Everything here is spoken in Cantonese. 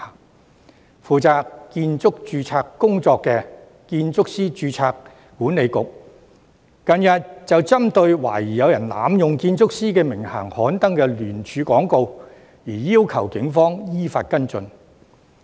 近日負責建築師註冊工作的建築師註冊管理局，便針對懷疑有人濫用建築師名銜刊登的聯署廣告，要求警方依法跟進。